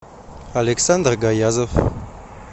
александр гаязов